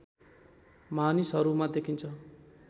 मानिसहरूमा देखिन्छ